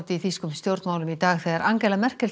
í þýskum stjórnmálum þegar Angela Merkel